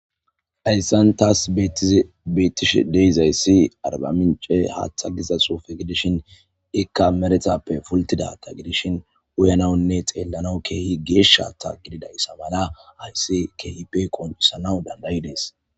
Hayssan taas bettize beettishe deiz hayssi arbamince haaththa giza sofe gidishin ikka meretappe pultidata gidishin uyanaunne xeellana keehi geeshatta gididayssa mala hayssi keehippe qoncisanaw dandayi dees.